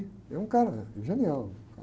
É um cara genial.